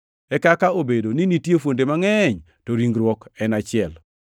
E kaka obedo ni nitie fuonde mangʼeny, to ringruok en achiel.